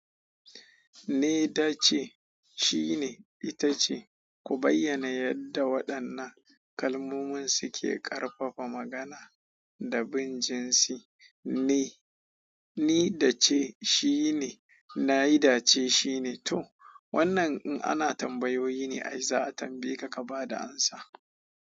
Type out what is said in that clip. Ni da ce, shi ne, ita ce, ku bayyana yadda waɗannan kalmomin suke ƙarfafa magana da bin jinsi. Ni, ni da ce, shi ne, na yi da ce, shi ne, to. Wannan in ana tambayoyi ne ai za a tambaye ka ka ba da amsa.